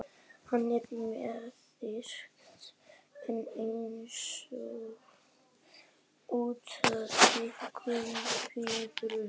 Hann er með þykkt nef einsog útflatta gúmmíblöðru.